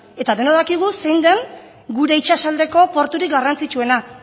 eta denok dakigu zein de gure itsasaldeko porturik garrantzitsuena